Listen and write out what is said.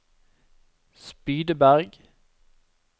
Spydeberg